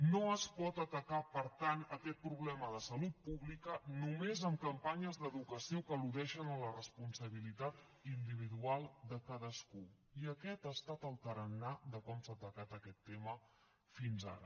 no es pot atacar per tant aquest problema de salut pública només amb campanyes d’educació que al·ludeixen a la responsabilitat individual de cadascú i aquest ha estat el tarannà de com s’ha atacat aquest tema fins ara